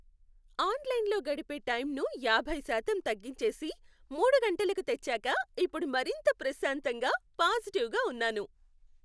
ఆన్లైన్లో గడిపే టైంను యాభై శాతం తగ్గించేసి మూడు గంటలకు తెచ్చాక ఇప్పుడు మరింత ప్రశాంతంగా, పాజిటివ్గా ఉన్నాను.